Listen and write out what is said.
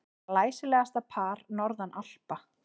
Glæsilegasta par norðan Alpa.